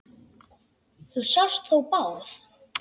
Þú sást þó Bárð?